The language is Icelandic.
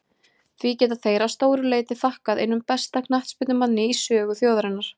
Því geta þeir að stóru leyti þakkað einum besta knattspyrnumanni í sögu þjóðarinnar.